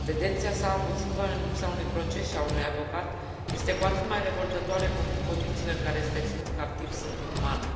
Detenția sa abuzivă în lipsa unui proces și a unui avocat este cu atât mai revoltătoare, cu cât condițiile în care este ținut captiv sunt inumane.